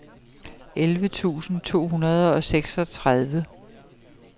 elleve tusind to hundrede og seksogtredive